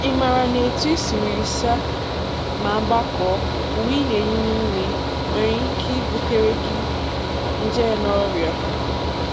Ị maara na etụ i siri saa ma gbakọọ uwe ị na-eyi n'ime nwereike ibutere gị nje na ọrịa?